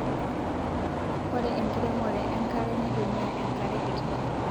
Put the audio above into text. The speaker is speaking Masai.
Ore enkiremore enkare nitumia enkare kiti